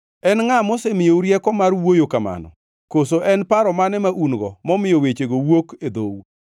En ngʼa mosemiyou rieko mar wuoyo kamano? Koso en paro mane ma un-go momiyo wechego wuok e dhou?